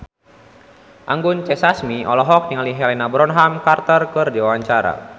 Anggun C. Sasmi olohok ningali Helena Bonham Carter keur diwawancara